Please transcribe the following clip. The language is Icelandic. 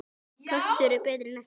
Köttur er betri en ekkert.